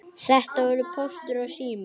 Þetta voru Póstur og Sími.